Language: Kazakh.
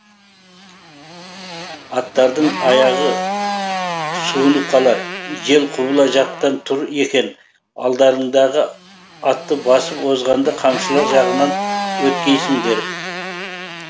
аттардың аяғы суынып қалар жел құбыла жақтан тұр екен алдарыңдағы атты басып озғанда қамшылар жағынан өткейсіңдер